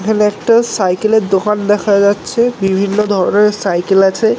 এখানে একটা সাইকেলের দোকান দেখা যাচ্ছে বিভিন্ন ধরনের সাইকেল আছে।